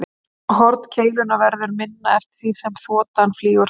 Horn keilunnar verður minna eftir því sem þotan flýgur hraðar.